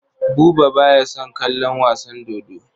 Buba ba ya son kallon wasan dodo.